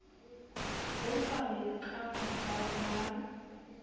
bo sa lokang ba ba